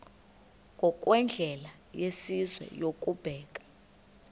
ngokwendlela yesizwe yokubeka